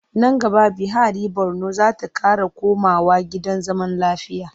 Nan gaba Bihari Borno za ta ƙara komawa gidan zaman lafiya.